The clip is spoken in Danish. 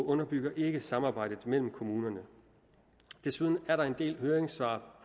underbygger ikke samarbejdet mellem kommunerne desuden er der en del høringssvar